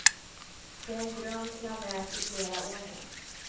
Det är en dröm jag närt i flera år nu.